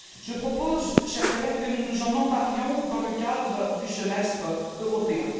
Je propose, chers collègues, que nous nous en emparions dans le cadre du semestre européen.